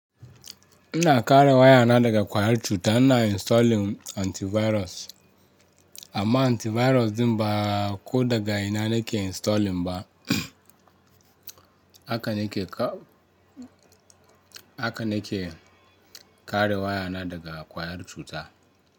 Ina kare wayana daga ƙwayar cuta, ina installing antivirus amma antivirus din ba ko da ga ina nake installing ba. Haka nake ka, haka nakeyi kare wayana daga ƙwayar cuta.